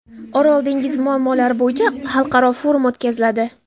Orol dengizi muammolari bo‘yicha Xalqaro forum o‘tkaziladi.